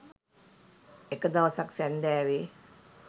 එක දවසක් සැන්ඳෑවේ